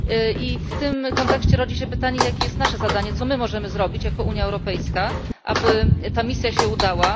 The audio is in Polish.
I w tym kontekście rodzi się pytanie jakie jest nasze zadanie, co my możemy zrobić jako Unia Europejska, aby ta misja się udała?